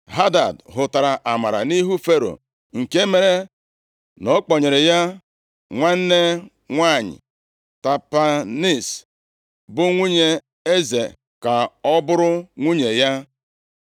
Hadad hụtara amara nʼihu Fero, nke mere na ọ kpọnyere ya nwanne nwanyị Tapenes bụ nwunye eze ka ọ bụrụ nwunye ya.